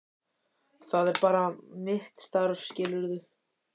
Það er bara mitt starf, skilurðu.